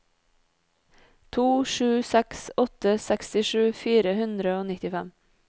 to sju seks åtte sekstisju fire hundre og nittifem